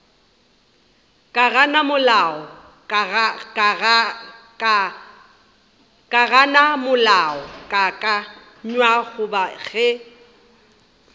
ka gana molaokakanywa goba ge